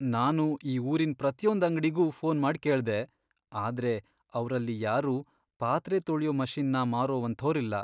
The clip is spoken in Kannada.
ನಾನು ಈ ಊರಿನ್ ಪ್ರತಿಯೊಂದ್ ಅಂಗ್ಡಿಗೂ ಫೋನ್ ಮಾಡ್ ಕೇಳ್ದೆ, ಆದ್ರೆ ಅವ್ರಲ್ಲಿ ಯಾರೂ ಪಾತ್ರೆ ತೊಳ್ಯೋ ಮಷಿನ್ನ ಮಾರುವಂಥೋರಿಲ್ಲ.